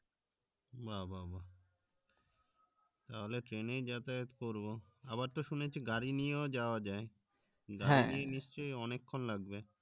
বাহ্ বাহ্ বাহ্ তাহলে train এই যাতায়াত করবো আবার তো শুনেছি গাড়ি নিয়েও যাওয়া যায় গাড়ি নিয়ে নিশ্চই অনেক্ষন লাগবে